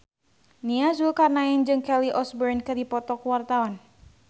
Nia Zulkarnaen jeung Kelly Osbourne keur dipoto ku wartawan